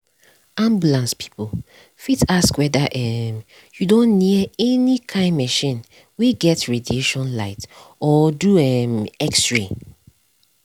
ambulance people fit ask whether um you don near any kind machine wey get radiation light or do um x-ray. um